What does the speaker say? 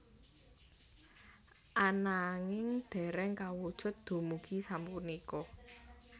Ananging dereng kawujud dumugi sapunika